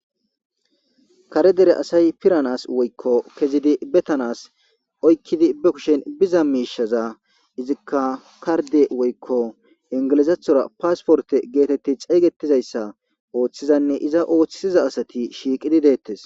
kare dere asay piranas woykko kezidi betanas oykkidi be kushen biza miishaza izikka karde woykko ingilizathora paasporte geetetti ceegetizayssa ooththizanne iza ooththiza asati shiiqidi deettes.